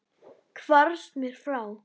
Hvarfst mér frá.